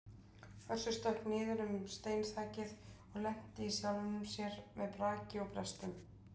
Össur stökk niður um steinþakið og lenti í sjálfum sér með braki og brestum.